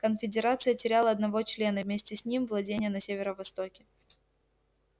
конфедерация теряла одного члена и вместе с ним владения на северо востоке